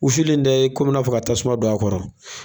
Wusuli in tɛ komi n'a fɔ ka tasuma don a kɔrɔ